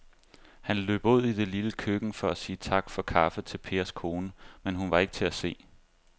Han løb ud i det lille køkken for at sige tak for kaffe til Pers kone, men hun var ikke til at se.